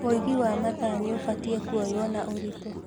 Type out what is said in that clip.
Ũigi wa mathaa nĩ ũbatiĩ kuoywo na ũritũ